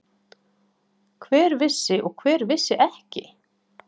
Hver vissi og hver vissi ekki?